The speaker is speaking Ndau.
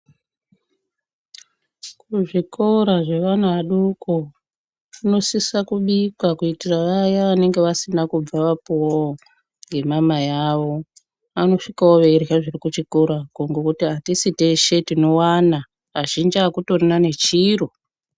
Kuzvikora zvevana vadoko kunosisa kubika kuitira vaya vanenge vasina kubva vapuvavo ngemamai avo. Anosvikavo eirya zviri kuchikorako ngekuti hatishi teshe tinovana azhinji hakutorina nechiro.